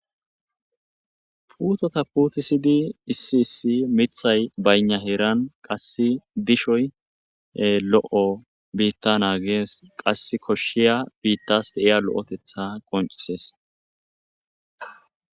Puuteta puttisidi issi issi miththay bayna heeran qasse dishshoy lo'o bitta naggesi qasse koshiya bittas deiya lo'otteththa qonccises.